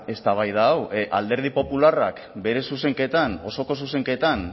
eztabaida hau alderdi popularrak bere zuzenketan osoko zuzenketan